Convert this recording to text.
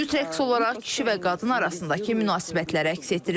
Cüt rəqs olaraq kişi və qadın arasındakı münasibətləri əks etdirir.